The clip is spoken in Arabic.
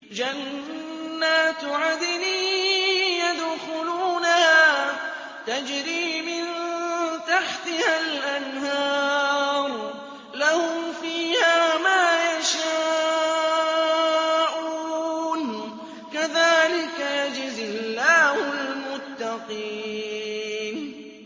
جَنَّاتُ عَدْنٍ يَدْخُلُونَهَا تَجْرِي مِن تَحْتِهَا الْأَنْهَارُ ۖ لَهُمْ فِيهَا مَا يَشَاءُونَ ۚ كَذَٰلِكَ يَجْزِي اللَّهُ الْمُتَّقِينَ